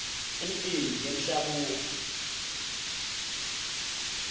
imicimbi yemishabuo